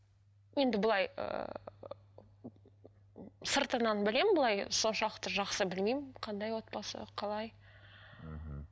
енді былай ыыы сыртынан білемін былай соншалықты жақсы білмеймін қандай отбасы қалай мхм